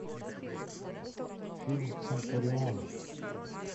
фильм центурион